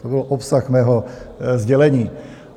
To byl obsah mého sdělení.